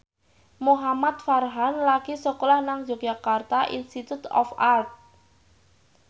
Muhamad Farhan lagi sekolah nang Yogyakarta Institute of Art